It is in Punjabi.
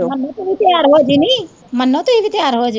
ਮੰਨੂ ਤੂੰ ਵੀ ਤਿਆਰ ਹੋ ਜਾਈ ਨੀ, ਮੰਨੂ ਤੂੰ ਵੀ ਤਿਆਰ ਜਾਈ।